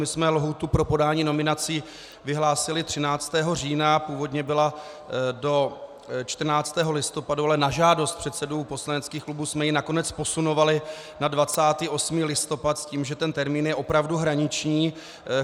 My jsme lhůtu pro podání nominací vyhlásili 13. října, původně byla do 14. listopadu, ale na žádost předsedů poslaneckých klubů jsme ji nakonec posunovali na 28. listopad s tím, že ten termín je opravdu hraniční.